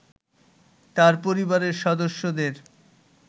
তার পরিবারের সদস্যদের